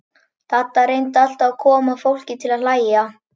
Dadda reyndi alltaf að koma fólki til að hlæja.